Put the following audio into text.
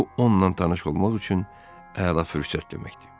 Bu onunla tanış olmaq üçün əla fürsət deməkdir.